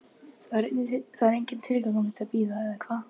Það er enginn tilgangur með því að bíða, eða hvað?